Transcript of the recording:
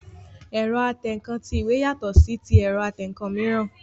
Ẹ̀rọ atẹǹkan ti ìwé yàtọ̀ sí ti ẹ̀rọ atẹǹkan mìíràn